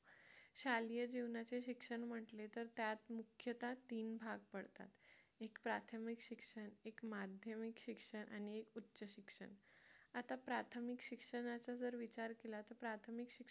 शालेय जीवनाचे शिक्षण म्हटले तर त्यात मुख्यतः तीन भाग पडतात एक प्राथमिक शिक्षण एक माध्यमिक शिक्षण आणि एक उच्च शिक्षण आता प्राथमिक शिक्षणाचा जर विचार केला तर प्राथमिक शिक्षण